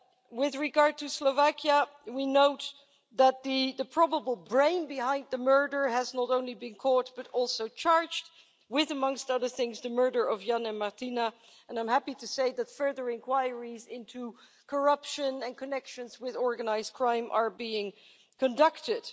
With regard to Slovakia, we note that the probable brain behind the murder has not only been caught but also charged with, amongst other things, the murder of Jan and Martina and I'm happy to say that further inquiries into corruption and connections with organised crime are being conducted.